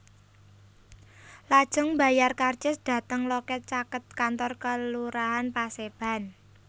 Lajeng mbayar karcis dhateng loket caket kantor Kelurahan Paseban